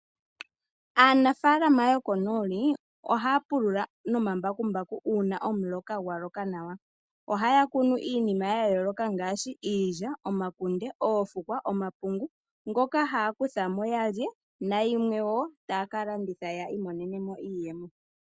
Aanafalama yokonooli ohaya pulula nomambakumbaku uuna omuloka gwaloka nawa, ohay kunu iinima yayooloka ngaashi iilya, omakunde, oofukwa nosho woo omapungu ngoka haakuthamo yalye naayimwe wo hakalanditha opo yakuthemo iiyemo yawo.